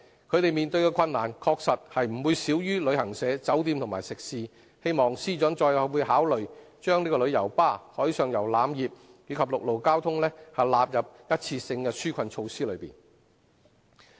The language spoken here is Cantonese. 他們所面對的困難確實不會少於旅行社、酒店和食肆，希望司長再次考慮把旅遊巴士、海上遊覽業及陸路交通，納入一次性的紓困措施內。